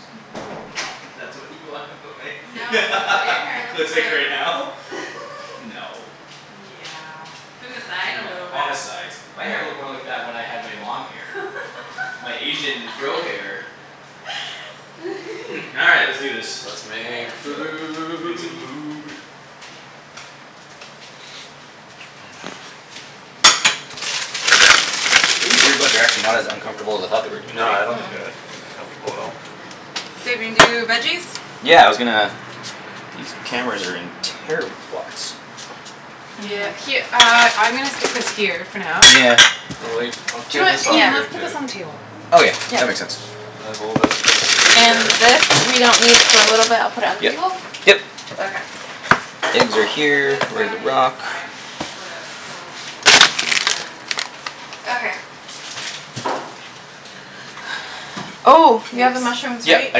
That's what you wanna put my No it's what your hair looks looks like like. right now? No. Yeah in the side a No, little bit. on the sides. My hair looked more What? like that when I had my long hair. My Asian fro hair. All right let's do this. Let's All right, make let's cook. Make some food. food. These earbuds are actually not as uncomfortable as I thought they were No gonna I don't be. Mm- think mm. they're comfortable at all. Babe, you wanna do th- veggies? Yeah, I was gonna These cameras are in terrible spots. Yeah, her- uh I'm gonna stick this here for now. Yeah. And leave I'll clear Do it this off Yeah. Ian, for you let's put this too. on the table. Okay, Yeah. that makes sense. And there's a little bit of space And here. this we don't need for a little bit I'll put it on Yep, table? yep. Okay. Ends are I'm gonna put this here, ready back to rock. inside. Hopefully that's cool Yeah. and then Okay. Oh you have the Oops. mushrooms Yeah, right? I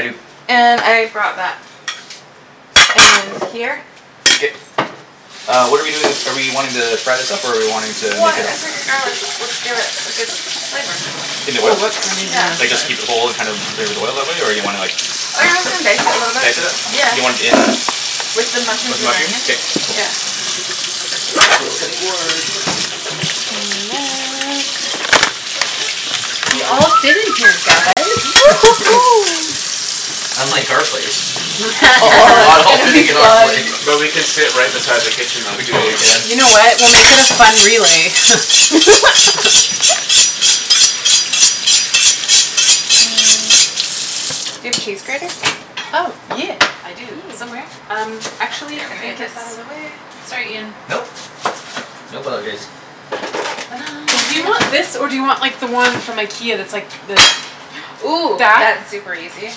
do. And I brought that. And here. K. Uh what're we doing are we wanting to fry this up or are we wanting to make What it I figured garlic would give it a good flavor. In the oil? Oh oops, I'm using Yeah. Like this side. just keep it whole and just kind of flavor the oil that way or do you wanna like Oh yeah I was gonna dice it a little Dice it up? Do you want bit. it in With the With mushrooms the and mushrooms? onions, K, cool. yeah. Gonna steal a cutting board quick. And that We all So fit in here guys Unlike our place. We are Oh not all it's gonna fitting be in our place. fun. But we can sit right beside the kitchen though We too in totally your place. can. You know what? We'll make it a fun relay Do you have a cheese grater? Oh yeah I do Yeah. somewhere um I'm actually I gonna get think this it's outta the way sorry Ian. Nope. No apologize. Do you want this Inject. or do you want the one from Ikea that's like the Ooh, that? that's super easy.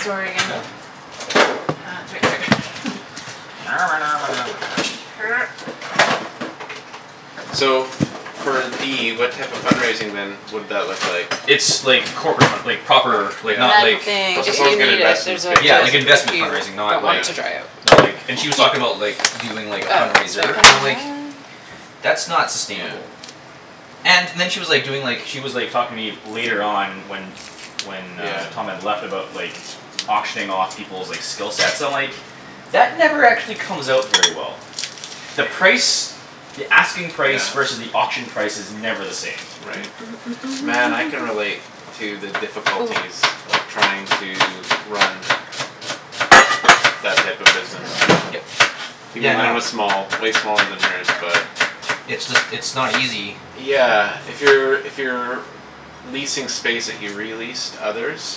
Sorry again. No. Uh it's right here So for D what type of fund raising then would that look like? It's like corporate fund- like proper like And not then like Yeah Oh so if someone's you Thank you. gonna need it invest in the there's a States, Yeah lid like basically. if investment you fundraising, not don't want like it Yeah. to dry out. Not like and Yeah. she was talking about like doing like a Uh fundraiser no and I'm like Um. "That's not sustainable" And then she was like doing like she was like talking to me later on when When uh Yeah. Tom had left about like Auctioning off peoples' like skill sets I'm like "That never actually comes out very well." The price the asking price versus Yeah. the auction price is never the same. Right. Man I can relate to the Ooh. difficulties of trying to run That type of business. Look at Yep. that. Even Yeah no. mine was small way smaller than hers but It's just it's not easy. Yeah, if you're if you're Leasing space that you re-lease to others.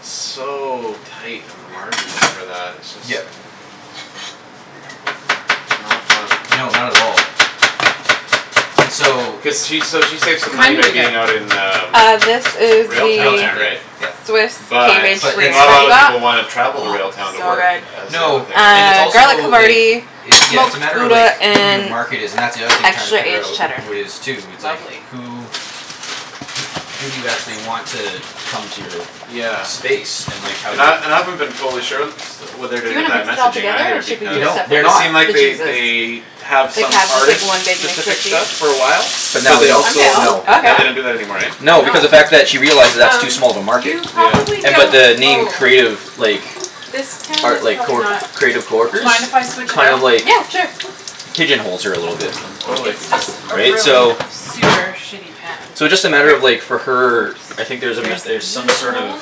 So tight on the margins for that. It's just Yep. Not fun. No, not at all. And so. Cuz she s- she saves What money kind by did you get? being out in um Uh this is Railtown the Railtown, there yep right? yep. Swiss cave But aged But gruyere it's not a that kinda we lotta got. people wanna Oh travel to Railtown to so work good. as the other No thing right? and it's Uh, garlic also like havarti, It's yeah it's a smoked matter of like gouda, who your and market is and that's the other thing tryin' to extra figure aged out cheddar. who it is too it's like Lovely. who who do you actually want to come to your Yeah. space and like how And do I you and I haven't been totally sure and st- what they're Do doing you with wanna I mix it all messaging together or either should we They because do it don't. They're separate? It not. seemed like The they they cheeses. have Like some have just like artist one big mix specific of cheese? stuff for a while. But I'm But now they they don't, down also no. with Okay. now they that. don't do that anymore eh? Why No not? because of fact that she realizes that's too Um small of a market. you probably Yeah. And but don't the name oh Creative like This pan is Art like probably not. creative coworkers? Mind if I switch it Kind out? of like Yeah sure. Pigeon holes her a little bit. Totally. It's just a Right? really So super shitty pan So just a matter of like for her I think there's a There's met- er some this sort of one.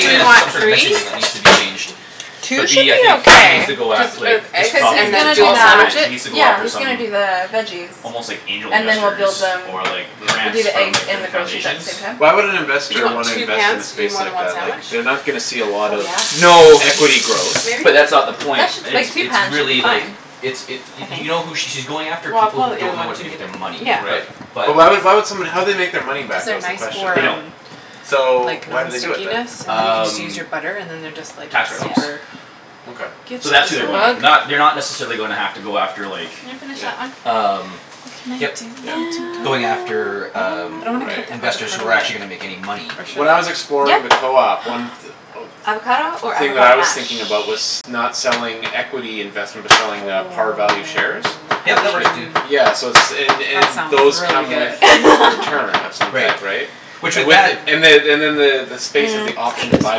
Do you there's want some sort of three? messaging that needs to be changed. Two But should B I be think she needs okay to go at Just like with just just eggs cuz he's and talking to then gonna do Tom dual about that sandwich it it? she needs to go yeah after he's some gonna do the veggies. Almost like angel And then we'll investors build them or like we'll Yeah. do grants the from eggs like and the different grilled cheese at the foundations same time. Why would an Do you investor want wanna two invest in pans a to do space more than like one that sandwich? like they're not gonna see a Oh lot of yeah. No. equity growth. Maybe? But that's not the point, it's Like two it's pans should really be like fine. It's it I y- think. you know who she's going after Well I'll people put who out the other don't know one if what to you do need with their it. money Yeah. but Right. But. But why why would somebody how would they make their money Cuz back though they're is the nice question, for They right? don't. um So like why do they do it non-stickiness then? and then you can just use Um your butter and then they're just like Tax write offs Yeah. super Okay. So Good that's as who they're a going bug. after. Ooh. Not they're not necessarily gonna have to go after like Can you finish Yeah. that one? Um What can I yep. Yep. do to help? Going after um I don't wanna cut the Right. investors who avocado are actually yet. gonna make any money. Or When should I was I? Yeah. exploring the co-op, one th- Avocado or thing that I avocado was mash? thinking about was not selling equity investment but I mean selling uh par value shares Yep that It works writ- too. yeah so it's and that and sounds those really come good. with return of some Right. type, right? Which And with with it that and the Hmm. and then the the space is the Mm, let's option do to this one. buy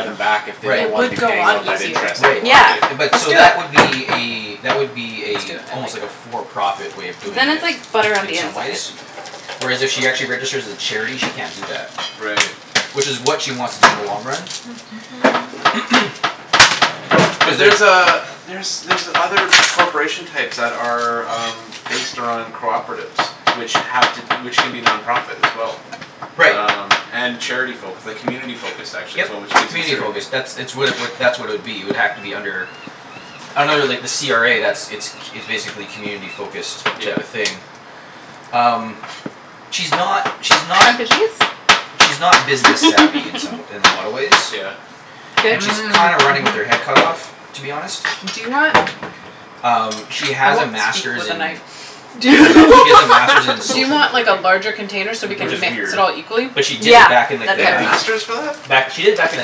them back if they Right. don't It wanna be would go paying on out that easier. interest Right anymore, Yeah. right? but Let's so do it. that would be a that would be a Let's do it. I like almost like that. a for profit way of But doing then it's it like butter on in the some inside. ways. Whereas if she actually registers as a charity she can't do that. Right. Which is what she wants to do in the long run. But Cuz there's there's uh there's other corporation types that are um Based on cooperatives which have to which can be non-profit as well. Right. Um and charity focus like community focused actually is Yep. what which gives you Community certain focus. That's it's what it would that's what it would be it would have to be under Under like the CRA that's it's c- it's basically community focused type of Yep. thing. um She's not she's not Hunk o' She's not cheese? business-savvy in some wa- in a lot of ways. Yeah. Goat And she's cheese kind of running with her head cut off to be honest. Do you wanna Um she I has a won't speak master's with a in knife. Do funny she has a master's in do you social want like a networking. larger container so we Which can is Mhm. mix weird. it all equally? But she did Yeah, it back in They like that'd the be have great. K. nineties. masters for that? Back she did it back in the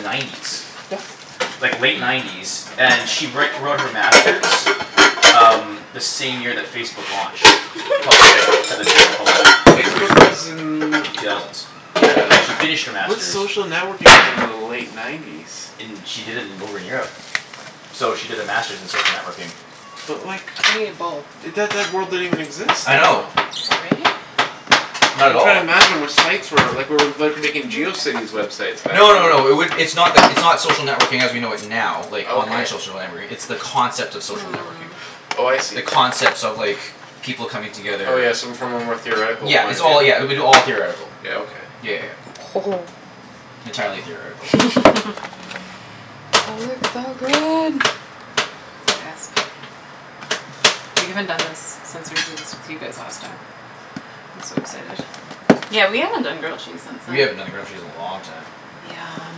nineties. Like late nineties and she write wrote her master's Um the same year that Facebook launched. Pub- like to the general public. Facebook was in The two thousands. Yeah. Yeah she finished her What's master's social networking within the late nineties? In she did it in over in Europe. So she did the master's in social networking. But like I need a bowl. That that word didn't even exist I then know. though. Sorry. Not at I'm all. tryin' to imagine what sites were like we're like making Geocities websites back No no then. no it would it's not like it's not social networking as we know it now like online Okay. social networking it's the concept of social networking. Hmm. Oh I The see. concepts of like people coming Oh together yeah, so from a more theoretical Yeah point it's of all yeah it view. would be all theoretical. Yeah, okay. Yeah yeah yeah. Entirely theoretical. That looks so good. Gasp We haven't done this since we did this with you guys last time. I'm so excited. Yeah, we haven't done grilled cheese since We then. haven't done a grilled cheese in a long time. Yum.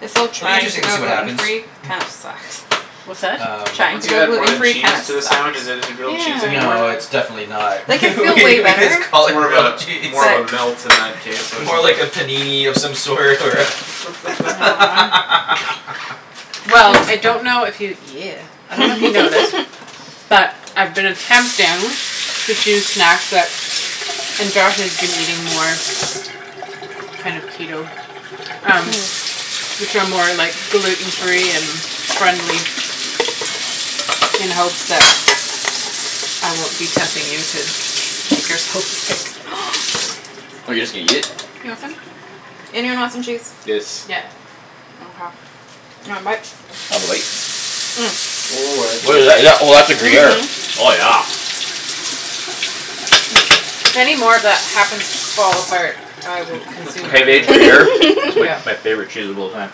This whole It'll be trying to interesting to go see what gluten happens. free kinda sucks. What's that? Um. Trying Once to you go add more gluten than free kinda cheese to a sucks. sandwich is it is it grilled cheese anymore? No it's Yeah. definitely not Like I feel we way we better just call but it More of grilled a cheese. more of a melt in that case or More something. like a panini of some sort or Yeah, Naan Well I 'scuse. don't know if you yeah I dunno if you know this But I've been attempting to choose snacks that and Josh is eating more Kind of Keto Um which are more like gluten free and friendly in hopes that I won't be tempting you to eat Oh you're just gonna eat it? You want some? Anyone want some cheese? Yes. Yeah. Mkay, you want a bite? I'll have a bite. Ooh, that's What good. is that? Oh that's a gruyere. Mhm. Oh yeah. If any more of that happens to fall apart, I will consume Pavage it for you. gruyere is like Yeah. my favorite cheese of all time.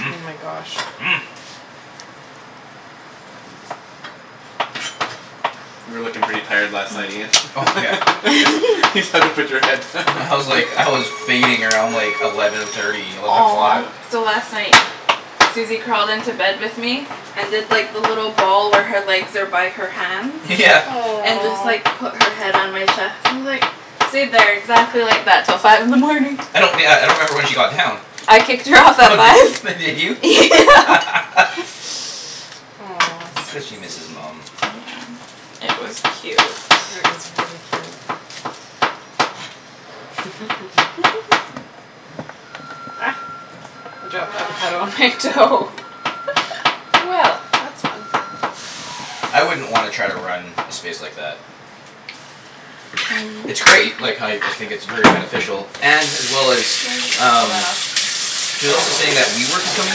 Oh my gosh. You were lookin' pretty tired last night Ian. Oh yeah. Just had to put your head. I was like I was fading around like eleven thirty eleven Aw. o'clock. Yeah. So last night Susie crawled into bed with me And did like the little ball where her legs are by her hands Yeah. And just like put her head on my chest and just like Stayed there exactly like that till five in the morning. I don't yeah I don't remember when she got down. I kicked her off Oh at did five. f- did you? Yeah Aw It's cuz she Susie. misses mum. It was cute. is very cute. Ah, I dropped avocado on my toe Well, that's fun. I wouldn't wanna try to run a space like that. It's great like how y- I think it's Yeah. very beneficial and as well as Can you just pull um that off? She's also saying that WeWork is coming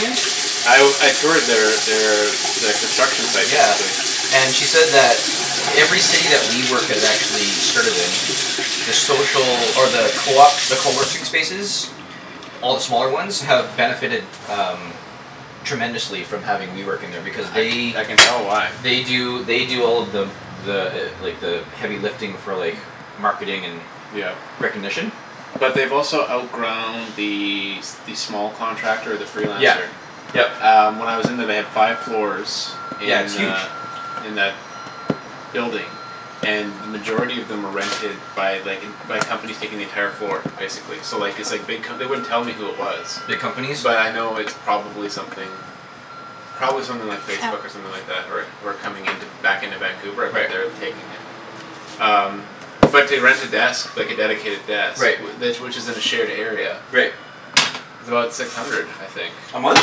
in? I w- I toured their their their construction site Yeah basically. and she said that Every city that WeWork has actually started in The social or the coop the coworking spaces All the smaller ones have benefited um Tremendously from having WeWork in there because I can they I can tell why. They do they do all of the The like the heavy lifting for like marketing and Yep. recognition. But they've also outgrown the s- the small contractor the Yeah, freelancer. yep. Um when I was in there they had five floors Yeah, it's in huge. uh In that building And then majority of them were rented by like en- by companies taking the entire floor basically so like it's like big co- they wouldn't tell me who it was. Big companies. But I know it's probably something Probably something like Facebook or Ow. something like that who are who are coming into back into Vancouver but Right. they're taking uh Um but to rent a desk like a dedicated desk Right. wh- tha- which is in a shared area Right. Is about six hundred, I think. A month?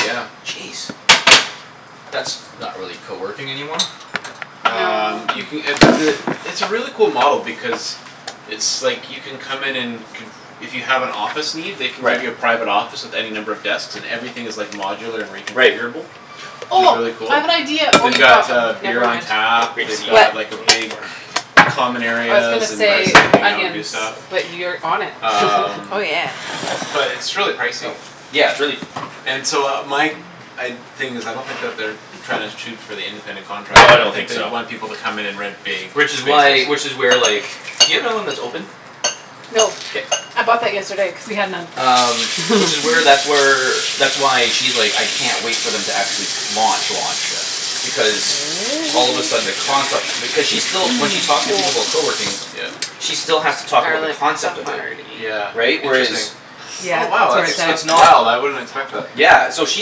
Yeah. Jeez. That's not really coworking anymore. Um you No ca- uh but the it's a really cool model because It's like you can come in and conf- if you have an office need they can give you a Right. private office with any number of desks and everything is like modular and Right. reconfigurable. Which is Oh really I cool. have an idea oh They've you got got them, uh beer never on mind. tap, Grape they've Oops. seed got What? like a big Common I was gonna areas and places say to hang out and do onions stuff but you're on it Um Oh yeah. But it's really Oh pricey. yeah, it's really And so my g- I'd thing is I don't think that they're Tryin' to shoot for the independent No I don't contractor think they so. want people to come in and rent big Which is spaces. why which is where like do you have one that's open? No K. I bought that yesterday cuz we had none Um which is where that's where That's why she's like, "I can't wait for them to actually launch launch." Yeah. Because all of a sudden the concept Yeah. because she's still when she talks to people about coworking Yeah. She still has to talk about the Garlic concept of it. Yeah havarti. Right? interesting. Whereas Yeah, Oh wow it's where it's that's It's at. it's that's not wow I wouldn't expect that. Yeah, so she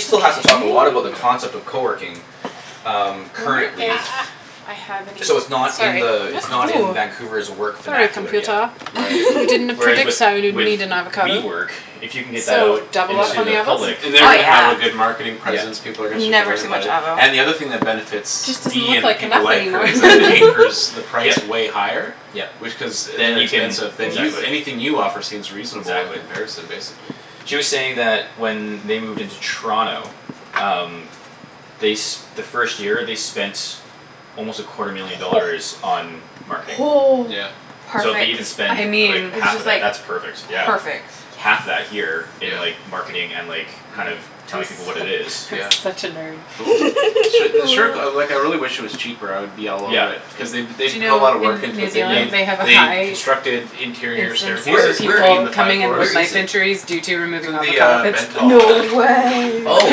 still has to talk a lot about the Okay Yeah. concept of coworking. Um Wonder currently. if Ah I have any. So it's not in Sorry. the it's not in Vancouver's work Sorry vernacular yet. computah Right. you didn't Whereas with predict so I would with need an avocado. WeWork, if you can get that So out double up Into on the the avos? public. Oh yeah, And they're gonna have a good marketing presence, Yeah. people are gonna start to never learn too about much it. avo. And the other thing that benefits Just doesn't D look and like people enough like her anymore is that anchors the price Yep. way higher. Yep. Which cuz Then you can inexpensive. Then Oops. you anything you offer seems reasonable in Exactly. comparison basically. She was saying that when they moved into Toronto Um they s- the first year they spent Almost a quarter million dollars on marketing. Yeah. So if they Perfect. even spend I like mean. It's half of just that like that's perfect yeah. perfect. Half that here Yes. in Yeah. like marketing and like kind of Mhm. I'm telling people what su- it is I'm Yeah. such a nerd. Cool. Su- the sure co- like I really wish it was cheaper I would be all Yeah. over it. Cuz they b- Do they you put a know lotta work in into New it. Yep. Zealand they have a They high constructed interior incidence Where of staircases where between people the five coming in i- where with floors. is knife it? injuries due to It's removing in the avocado um pits? No Bentall I believe the way Oh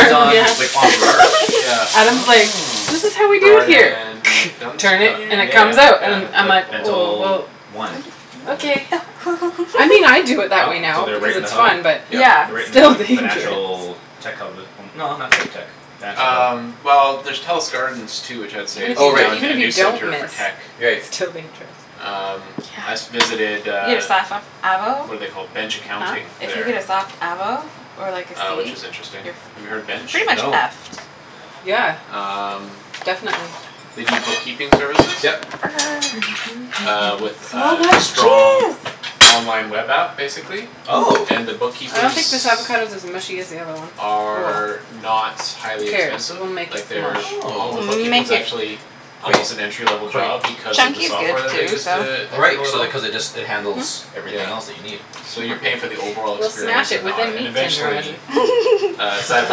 it's on yeah. like on Burrard. Yeah. Adam's like, Oh. "This is how we do it Burrard here and turn it, Dun- and it Yeah Dunsmuir? comes out", yeah and Yeah. I'm like like like "Oh Bentall well". One. Okay. I mean I do it that Oh way so now they're because right in it's the hub. fun but Yeah. Yep. They're right it's in the still kind of the dangerous financial tech hub no not quite tech. Financial. Um well there's Telus Gardens too which I would say Even is if you Oh right. now d- a even a if you new don't center for miss tech. Right. it's still dangerous Um I s- Yeah. visited You uh got avo What're they called, Bench Huh? Accounting If you get there. a soft avo or like a Uh which seed is interesting. Have you you're heard f- Bench? pretty much No. effed. Yeah. Um Definitely. They do bookkeeping services. Yep. Uh with So a much strong cheese. online web app basically. Oh. And the I don't think bookkeepers this avocado's as mushy as the other one. Oh well. Are not Who highly cares, expensive. we'll make it Like smash. they're all the Oh. We'll bookkeeping is make it. actually Quite Almost an entry level quite. job because of the Chunky's good software that they too, use so. to Oh right handle it so all. they cuz it just it Mhm. handles everything else that Yeah. you need. So you're paying for the overall We'll smash experience it and the with a aut- and meat tenderizer. eventually Uh I side for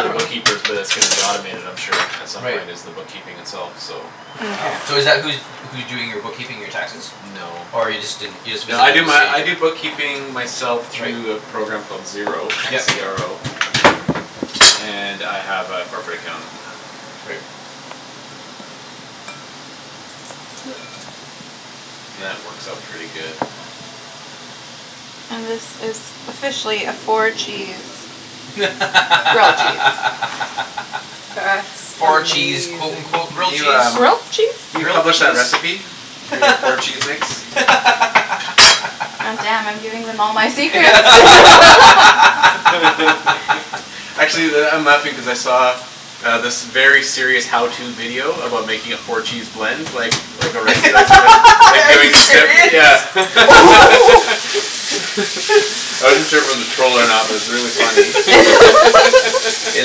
the dunno. bookkeepers but it's gonna be automated I'm sure at some Right. point is the bookkeeping itself so. Wow Mkay. so is that who's who's doing your bookkeeping your taxes? No. Or you just didn't you just No I visited do to my I do see? bookkeeping myself Right. through a program called Xero, x Yep. e r o. And I have a corporate account. Right. That works out pretty good. And this is officially a four cheese grilled cheese. That's Four cheese amazing. quote unquote Can grilled cheese? Grilled cheese? you Grilled publish a cheese? recipe? For your four cheese mix? God damn, I'm giving them all my secrets Actually that I'm laughing cuz I saw Um this very serious how to video about making a four cheese blend like like a restaurant or Are you serious? something I wasn't sure if it was a troll or not but it was really funny Hey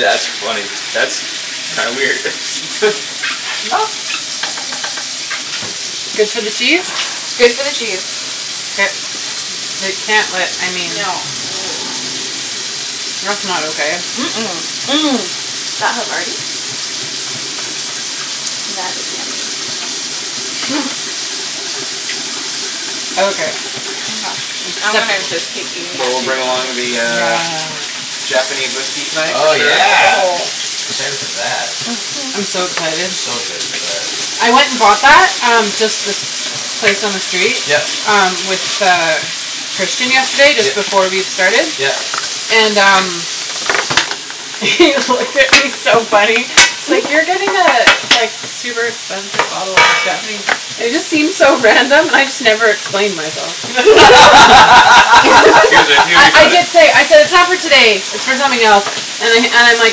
that's funny. That's kinda weird. Good for the cheese? Good for the cheese. K. They can't let I mean No. That's not okay. Mm- mm, That havarti. That is yummy. Okay, acceptable. So we'll bring along the uh Nah. Japanese whiskey tonight for Oh sure. yeah. Excited for that. Mhm. I'm so excited. So excited for that. I went and bought that um just this place on the street Yep. um with uh Christian yesterday just Yep, before we started yep. and um He looked at me he's so funny. He's like, "You're getting a like super expensive bottle of Japanese". And it just seemed so random and I just never explained myself. I nearly I bought it? did say, I said, "It's not for today. It's for something else." And I and I'm like,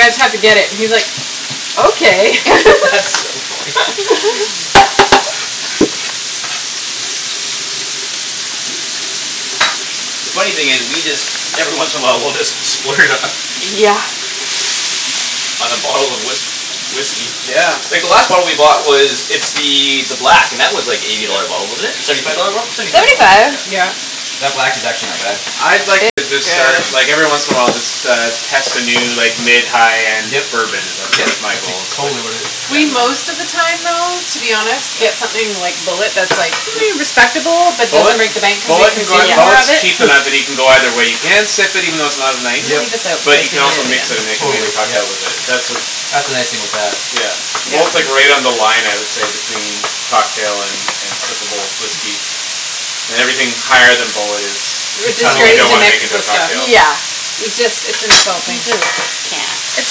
"I just have to get it." and he's like, "Okay." That's so funny. Oops. The funny thing is we just every once in a while we'll just splurge on Yeah. On a bottle of whisk- whiskey. Yeah. Like the last bottle we bought was it's the the black and that was like eighty Yeah. dollar a bottle wasn't it? Seventy five dollar bottle? Seventy five Seventy dollar bott- five. Yeah. Yeah. That black is actually not bad. I'd like uh to It's start good. like every once in a while just uh test a new like mid high end Yep bourbon is that's yep that's my that's ex- goal it's like totally worth it. yeah We most of the time though to be honest Yeah. get something like Bulleit that's like respectable but Bulleit doesn't break the bank cuz we Bulleit can can go consume more of Bulleit's it cheaper now that you can go either way you can sip it even though it's not I'm nice. gonna Yep. leave this out But because you we can need also it mix it and again. make Totally, amazing yep. cocktails with it that's uh That's the nice thing with that. Yeah. Yeah. Bulleit's right on the line I would say between cocktail and and sippable whiskey. And everything higher than Bulleit is R- Is kinda something you like disgrace don't to wanna mix make into a with stuff. cocktail. Yeah. It just it's We insulting. just can't. It's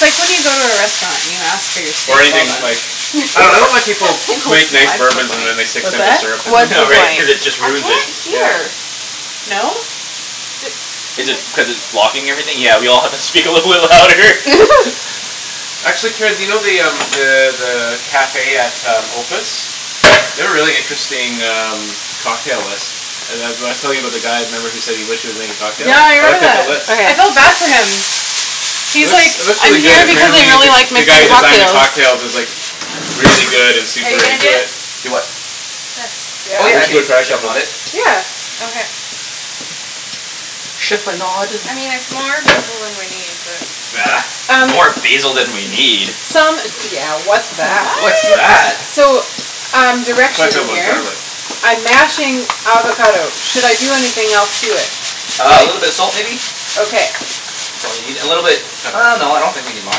like when you go to a restaurant and you ask for your Or steak well using done. like I dunno I don't like What's people who make nice bourbons and then they the point? stick What's simple that? syrup in them What's the Yeah right right? point? cuz it just I can't ruins it. Yeah. hear. No? Is it cuz it's blocking everything? Yeah we all have to speak a little bit louder Actually, Ped you know the um the the cafe at um Opus? They have a really interesting um cocktail list Uh the w- I was telling you about the guy remember who said he wished he was making cocktails? Yeah I I looked remember at the that. list. I Okay. felt bad for him. It He's like, looks it looks really "I'm good. here because I Apparently the really like the guy who making designs the cocktails." cocktails is like Really good and Are super you gonna do into it. it? Do what? This. Oh Yeah? yeah We I should can go try a like chip in couple. a bit. Yeah. Okay. Chiffonade I mean it's more basil than we need, but Bah, Um more basil than we need? Some d- yeah what's that? What's What? that? So um I plan to direction fill up in on here. garlic. I'm mashing avocado. Should I do anything else to it? Uh a Like, little bit of salt maybe? okay. That's all you need a little bit Pepper. uh no I don't think we need lime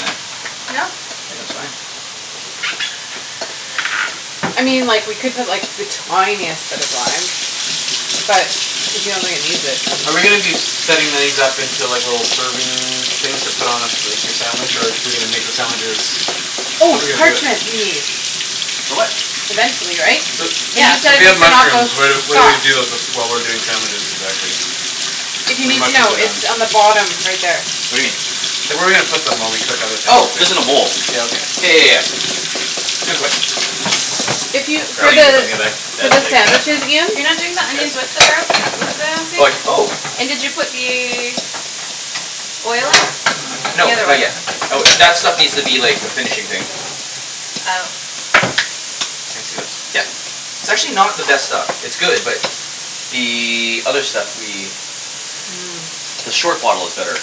in it. No. Think that's fine. I mean like we could put like the tiniest bit of lime. But if you don't think it needs it Are we gonna then be setting these up into like little serving things to put on a like your sandwich or are we gonna make the sandwiches How're Oh, we gonna do parchment it? we need. For what? Eventually, right? So Cuz Yeah. you so said we we have need to not go mushrooms. What are what do we soft. do while we're doing sandwiches exactly? If you When the need to mushrooms know, are it's done. on the bottom right there. What do you mean? Like where are we gonna put them while we cook other Oh things just in in a there? bowl. Yeah Yeah okay. yeah yeah yeah. Good question If you for the for that the big. sandwiches, Ian You're not doing Is the this onions with his? the gar- with the Like thing? oh And did you put the Oil in? No The other not oil. yet. That was that stuff needs to be like a finishing thing. Oh. Can I see this? Yep. It's actually not the best stuff. It's good but The other stuff we The short bottle is better.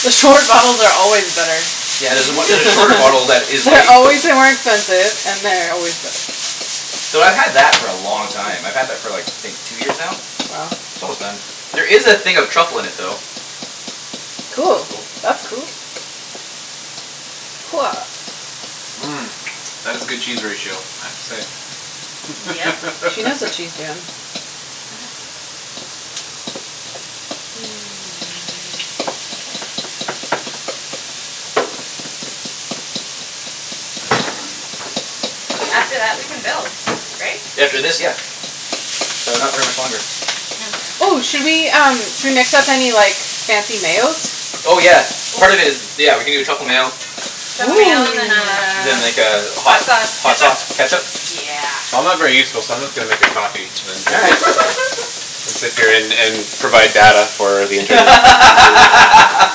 The short bottles are always better. Yeah there's a on- there's a shorter bottle that is They're like always way more expensive and they're always better. Though I've had that for a long time. I've had that for like I think two years now? Wow. It's almost done. There is a thing of truffle in it though. That's Cool. cool. That's cool. That is a good cheese ratio I have to say. Yep. She knows what she's doin'. After that we can build, right? After this, yeah. So not very much longer. Okay. Oh, should we um should we mix up any like fancy mayos? Oh yeah. Oh. Part of it is. Yeah we can do a truffle mayo. Truffle mayo and then Then like a a hot hot sauce hot ketchup? sauce ketchup Yeah. I'm not very useful so I'm just gonna make a coffee and then All drink right. it. It's appearin' and provide data for the internet.